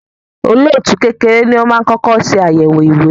olóòtú kékeré ní o má kọkọ ṣe ayẹwo ìwé